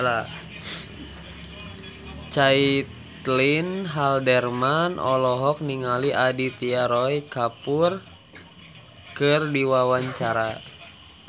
Caitlin Halderman olohok ningali Aditya Roy Kapoor keur diwawancara